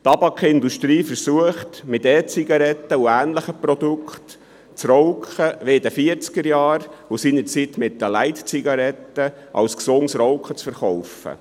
Die Tabakindustrie versucht mit E-Zigaretten und ähnlichen Produkten das Rauchen – wie in den 1940er-Jahren mit den Light-Zigaretten – als gesundes Rauchen zu verkaufen.